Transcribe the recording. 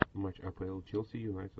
матч апл челси юнайтед